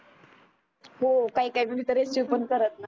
हो काही काही जन तर रिसिव्ह पण करत नाही.